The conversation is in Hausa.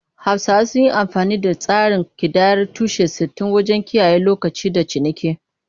Hausawa sun yi amfani da tsarin kidayar tushe-sittin wajen kiyaye lokaci da ciniki.